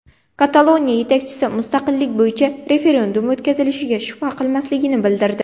Kataloniya yetakchisi mustaqillik bo‘yicha referendum o‘tkazilishiga shubha qilmasligini bildirdi.